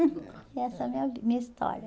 Essa é a minha vi minha história.